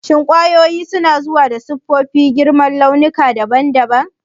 Shin kwayoyin suna zuwa da siffofi, girma da launuka daban-daban?